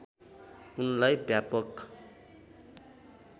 उनलाई व्यापक